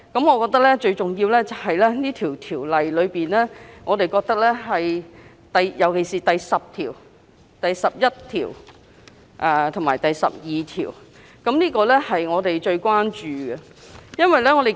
我認為，最重要的原因出於《條例草案》尤其是第10、11及12條——我們最關注的條文。